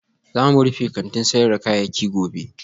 Za mu rufe kantin sayar da kayayyaki gobe